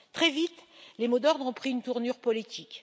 Très vite, les mots d'ordre ont pris une tournure politique.